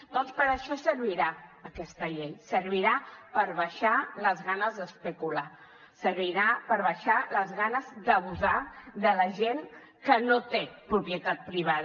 doncs per a això servirà aquesta llei servirà per baixar les ganes d’especular servirà per baixar les ganes d’abusar de la gent que no té propietat privada